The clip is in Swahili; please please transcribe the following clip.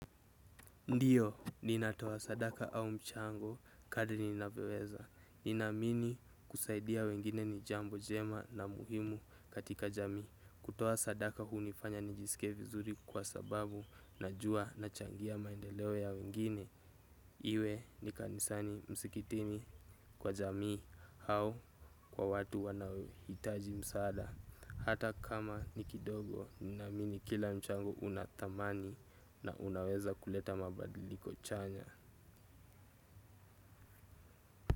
Ndio, ninatoa sadaka au mchango, kadri ninavyoweza. Ninaamini kusaidia wengine ni jambo njema na muhimu katika jamii. Kutoa sadaka hunifanya nijisikie vizuri kwa sababu najua nachangia maendeleo ya wengine. Iwe ni kanisani, msikitini, kwa jamii au kwa watu wanaohitaji msaada. Hata kama ni kidogo, naamini kila mchango una thamani na unaweza kuleta mabadiliko chanya.